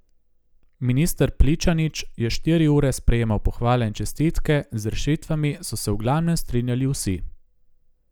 Minister Pličanič je štiri ure sprejemal pohvale in čestitke, z rešitvami so se v glavnem strinjali vsi.